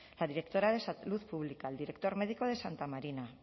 la directora de salud pública el director médico de santa marina